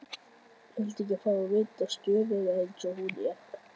Viltu ekki fá að vita stöðuna eins og hún er?